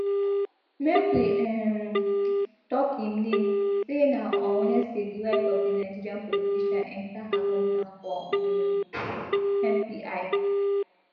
make we um tok im name say na on wednesday di wife of di nigerian politician enta her hometown for um mpi